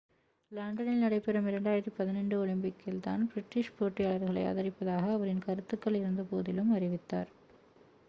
லண்டனில் நடைபெறும் 2012 ஒலிம்பிக்கில் தான் பிரிட்டிஷ் போட்டியாளர்களை ஆதரிப்பதாக அவரின் கருத்துக்கள் இருந்தபோதிலும் அறிவித்தார்